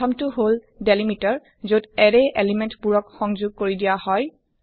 ১ম টো হল ডেলিমিটাৰ যত এৰে এলিমেণ্ট বোৰক ক সংযোগ কৰি দিয়া হয়